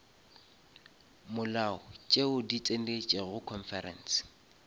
molao tšeo di tsenetšego conference